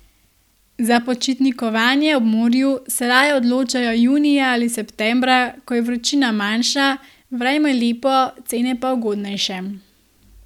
Za počitnikovanje ob morju se raje odločajo junija ali septembra, ko je vročina manjša, vreme lepo, cene pa ugodnejše.